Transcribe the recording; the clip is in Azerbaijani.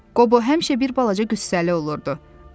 Qobo həmişə bir balaca qüssəli olurdu.